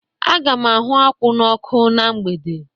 Aga m ahụ akwụ n'ọkụ na mgbede.